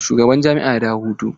Shugaban jami'a ya dawo daga hutu?